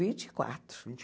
Vinte e quatro. Vinte